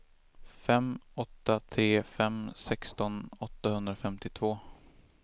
fem åtta tre fem sexton åttahundrafemtiotvå